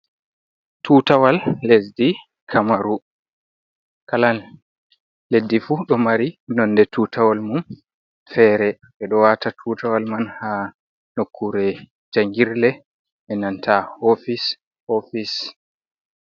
Tutawal lesdi kamaru Kala leddi fu ɗo mari nonde tutawal mum fere, ɓe ɗo wata tutawal man ha nokkure jangirle e nanta ofis- ofis.